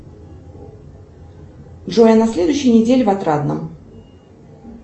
джой на следующей неделе в отрадном